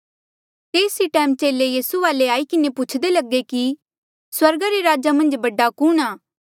तेस ई टैम चेले यीसू वाले आई किन्हें पुछदे लगे कि स्वर्गा रे राजा मन्झ बडा कुणहां